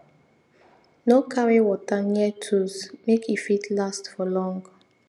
no carry water near tools make e fit last for long